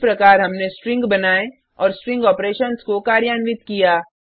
इप प्रकार हमने स्ट्रिंग बनाए और स्ट्रिंग ऑपरेशन्स को कार्यान्वित किया